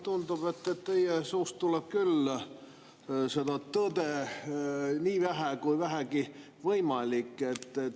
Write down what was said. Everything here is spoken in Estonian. Tundub, et teie suust tuleb küll seda tõde nii vähe kui vähegi võimalik.